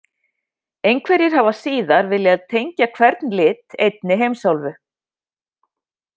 Einhverjir hafa síðar viljað tengja hvern lit einni heimsálfu: